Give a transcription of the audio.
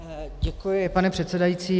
Děkuji, pane předsedající.